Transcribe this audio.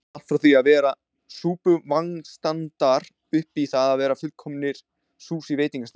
Allt frá því að vera súpuvagnsstandar upp í það að vera fullkomninr Sushi veitingastaðir.